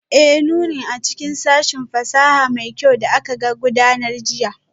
Ee, nunin a cikin sashin fasaha mai kyau da aka gudanar jiya